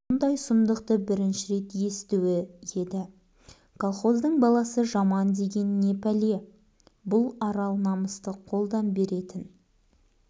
мұндай сұмдықты бірінші рет естуі еді колхоздың баласы жамандеген не пәле бұл арал намысты қолдан беретін